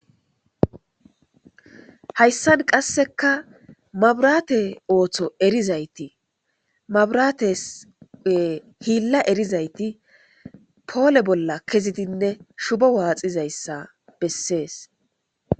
hayssan qasseka mabiraate ooththo erizayti mabiraatese hiilla erizayti poole bolla kezidinne shubo waaxizayssa bessees